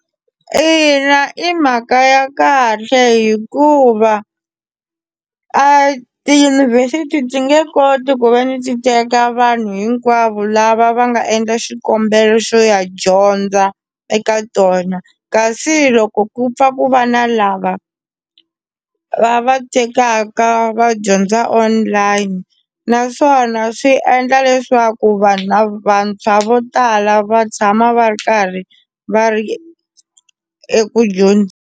Ina, i mhaka ya kahle hikuva a tiyunivhesiti ndzi nge koti ku ve ni ti teka vanhu hinkwavo lava va nga endla xikombelo xo ya dyondza eka tona kasi loko ku pfa ku va na lava va va tekaka va dyondza online naswona swi endla leswaku vanhu lava vantshwa vo tala va tshama va ri karhi va ri eku .